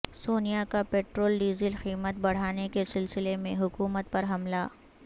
سونیا کا petrol diesel قیمت بڑھانے کے سلسلے میں حکومت پر حملہ